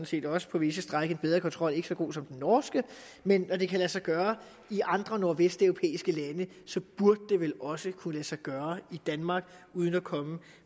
set også på visse stræk en bedre kontrol ikke så god som den norske men når det kan lade sig gøre i andre nordvesteuropæiske lande burde det vel også kunne lade sig gøre i danmark uden at komme